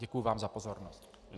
Děkuji vám za pozornost.